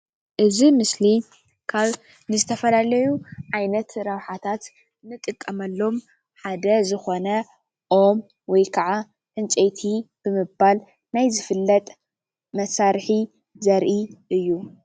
እዚ ምስሊ ካብ ንዝተፈላለዩ ዓይነት ረብሓታት ንጥቀመሎም ሓደ ዝኮነ ኦም ወይክዓ ዕንጨይቲ ብምባል ናይ ዝፍለጥ መሳርሒ ዘርኢ እዩ፡፡